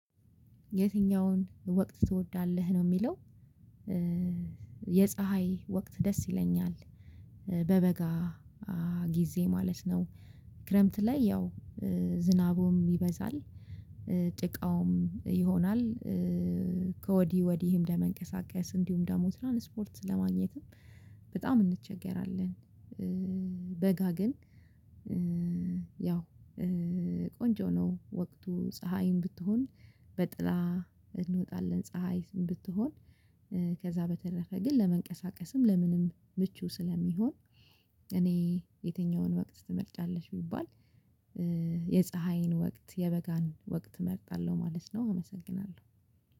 የትኛውን ወቅት ትወዳለህ ነው የሚለው? የፀሀይ ወቅት ደስ ይለኛል በበጋ ጊዜ ማለት ነው። ክረምት ላይ ያው ዝናቡም ይበዛል። ጭቃውም ይሆናል። ከወዲ ወዲህም ለመንቀሳቀስ እንዲሁም ደግሞ ትራን ስፖርት ለማግኘትም በጣም እንቸገራለን። በጋ ግን ያው ቆንጆ ነው። ወቅቱ ፀሀይም ብትሆን በጥላ እንወጣለን። ፀሀይ ብትሆን ከዛ በተረፈ ግን ለመንቀሳቀስም ለምንም ምቹ ስለሚሆን። እኔ የትኛውን ወቅት ትመርጫለሽ ቢባል የፀሀይን ወቅት የበጋን ወቅት እመርጣለሁ ማለት ነው። አመሰግናለሁ።